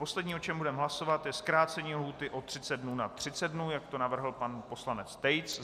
Poslední, o čem budeme hlasovat, je zkrácení lhůty o 30 dnů na 30 dnů, jak to navrhl pan poslanec Tejc.